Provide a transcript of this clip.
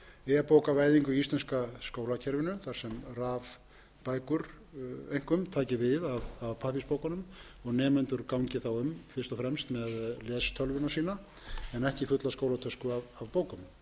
e bókavæðingu í íslenska skólakerfinu þar sem rafbækur einkum taki við af pappírsbókum og nemendur gangi þá um fyrst og fremst með lestölvuna sína en ekki fulla skólatösku af